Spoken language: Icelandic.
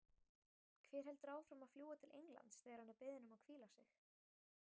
Hver heldur áfram að fljúga til Englands þegar hann er beðinn um að hvíla sig?